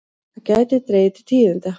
Það gæti dregið til tíðinda.